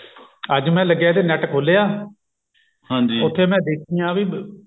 ਅੱਜ ਮੈਂ ਲੱਗਿਆ ਤੇ net ਖੋਲਿਆ ਉੱਥੇ ਮੈਂ ਦੇਖਿਆ ਵੀ